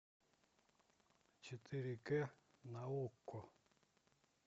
четыре к на окко